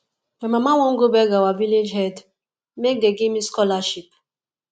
my mama wan go beg our village head make dey give me scholarship